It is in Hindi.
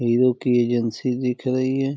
हीरो की एजेंसी दिख रही है।